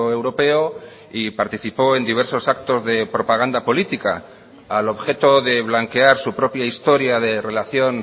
europeo y participó en diversos actos de propaganda política al objeto de blanquear su propia historia de relación